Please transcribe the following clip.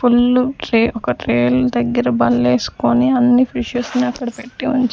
full tray ఒక tray లు దగ్గర బల్లేసుకొని అన్ని ఫిషస్ ని అక్కడ పెట్టి ఉంచా --